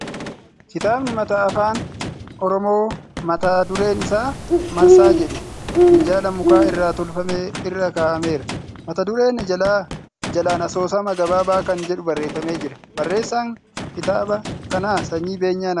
Kitaabni mata Afaan Oromoo mata dureen isaa ' Marsaa jedhu '' minjaala muka irraa tolfame irra kaa'ameera. Mata duree jalaan asoosama gabaabaa kan jedhu barreeffamee jira. Barreessaa kitaaba kanaa Sanyii Beenyaa Nagaasaa jedhama.